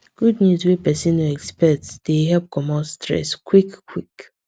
good news wey person no expect dey help comot stress quick quick